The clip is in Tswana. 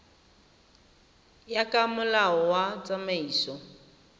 ya ka molao wa tsamaiso